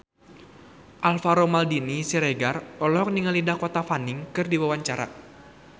Alvaro Maldini Siregar olohok ningali Dakota Fanning keur diwawancara